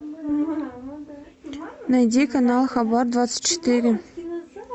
найди канал хабар двадцать четыре